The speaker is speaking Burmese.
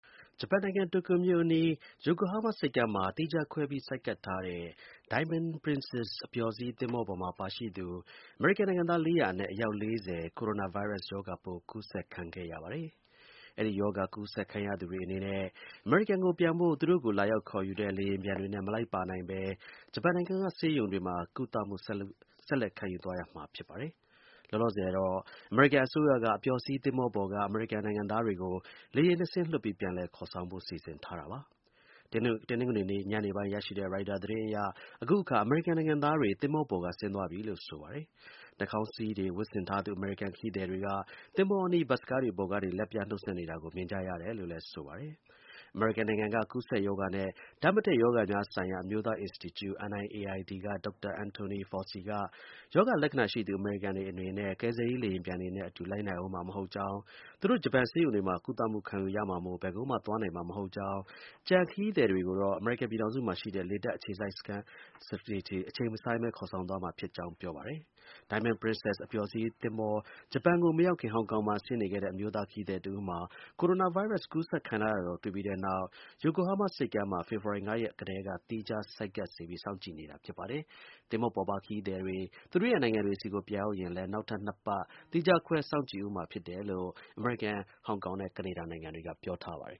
ဂျပန်နိုင်ငံ၊ တိုကျိုမြို့အနီး ယိုကိုဟားမားဆိပ်ကမ်းမှာ သီးခြားခွဲပြီး ဆိုက်ကပ်ထားတဲ့ Diamond Princess အပျော်စီးသင်္ဘောပေါ်မှာ ပါရှိသူ အမေရိကန်နိုင်ငံသား ၄၀၀ အနက် အယောက် ၄၀ ကိုရိုနာဗိုင်းရပ်စ်ရောဂါပိုး ကူးစက်ခံရပါတယ်။ အဲဒီရောဂါ ကူးစက်ခံရသူတွေအနေနဲ့ အမေရိကန်ကိုပြန်ဖို့ သူတို့ကို လာရောက်ခေါ်ယူတဲ့ လေယာဉ်ပျံတွေနဲ့ မလိုက်ပါနိုင်ဘဲ ဂျပန်နိုင်ငံက ဆေးရုံတွေမှာ ကုသမှု ဆက်လက်ခံယူသွားရမှာ ဖြစ်ပါတယ်။ လောလောဆယ်တော့ အမေရိကန်အစိုးရက အပျော်စီးသင်္ဘောပေါ်က အမေရိကန်နိုင်ငံသားတွေကို လေယာဉ်နှစ်စင်းလွှတ်ပြီး ပြန်လည်ခေါ်ဆောင်ဖို့ စီစဉ်ထားပါတယ်။ တနင်္ဂနွေနေ့ညနေပိုင်း ရရှိတဲ့ ရိုက်တာသတင်းအရ အခုအခါ အမေရိကန်နိုင်ငံသားတွေသင်္ဘောပေါ်က ဆင်းသွားပြီလို့ ဆိုပါတယ်။ နှာခေါင်းစည်းတွေ ဝတ်ဆင်ထားသူ အမေရိကန် ခရီးသည်တွေက သင်္ဘောအနီး ဘတ်စ်ကားတွေပေါ်ကနေ လက်ပြနှုတ်ဆက်နေတာကို မြင်ကြရတယ်လို့လည်း ဆိုပါတယ်။ အမေရိကန်နိုင်ငံက ကူးစက်ရောဂါနဲ့ ဓာတ်မတည့်ရောဂါများဆိုင်ရာ အမျိုးသားအင်စတီကျု (NIAID) က ဒေါက်တာ Antony Fauci က ရောဂါလက္ခဏာရှိသူ အမေရိကန်တွေအနေနဲ့ ကယ်ဆယ်ရေး လေယာဉ်ပျံတွေနဲ့ အတူ လိုက်နိုင်ဦးမှာ မဟုတ်ကြောင်း၊ သူတို့ ဂျပန်ဆေးရုံတွေမှာ ကုသမှု ခံယူရမှာမို့ ဘယ်ကိုမှ သွားနိုင်မှာမဟုတ်ကြောင်း၊ ကျန်ခရီးသည်တွေကိုတော့ အမေရိကန် ပြည်ထောင်စုမှာရှိတဲ့ လေတပ်အခြေစိုက်စခန်းတွေဆီကို အချိန်မဆိုင်းဘဲ ခေါ်ဆောင်သွားမှာဖြစ်ကြောင်း ပြောပါတယ်။ Diamond Princess အပျော်စီးသင်္ဘော ဂျပန်ကိုမရောက်ခင် ဟောင်ကောင်မှာ ဆင်းနေခဲ့တဲ့ အမျိုးသား ခရီးသည်တဦးမှာ ကိုရိုနာဗိုင်းရပ်စ် ကူးစက်ခံထားရတာတာကို တွေ့ခဲ့ပြီးတဲ့နောက် ယိုကိုဟားမားဆိပ်ကမ်းမှာ ဖေဖော်ဝါရီလ ၅ ရက်နေ့ကတည်းက သီးခြား ဆိုက်ကပ်စေပြီး စောင့်ကြည့်နေတာ ဖြစ်ပါတယ်။ သင်္ဘောပေါ်ပါ ခရီးသည်တွေ သူတို့ရဲ့နိုင်ငံတွေဆီကို ပြန်ရောက်ရင်လည်း နောက်ထပ် ၂ ပတ် သီးခြားခွဲ စောင့်ကြည့်ဦးမှာဖြစ်တယ်လို့ အမေရိကန်၊ ဟောင်ကောင်နဲ့ ကနေဒါက ပြောထားပါတယ်